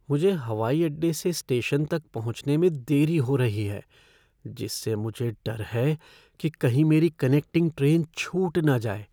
मुझे हवाई अड्डे से स्टेशन तक पहुंचने में देरी हो रही है जिससे मुझे डर है कि कहीं मेरी कनेक्टिंग ट्रेन छूट न जाए।